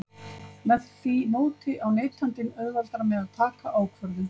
Með því móti á neytandinn auðveldara með að taka ákvörðun.